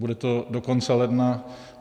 Bude to do konce ledna?